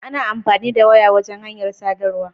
Ana amfani da waya wajan hanyar sadarwa